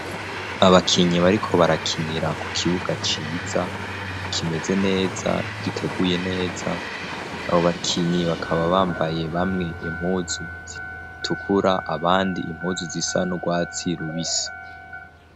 abakinyi bariko barakinira ku kibuga ciza kimeze neza giteguye neza abo bakinyi bakaba bambaye bamwe impuzu zitukura abandi impuzu zisa n'urwatsi rubisi